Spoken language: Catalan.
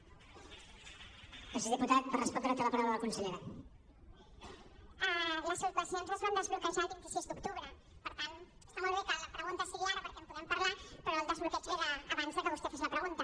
les subvencions es van desbloquejar el vint sis d’octubre per tant està molt bé que la pregunta sigui ara perquè en podem parlar però el desbloqueig ve d’abans que vostè fes la pregunta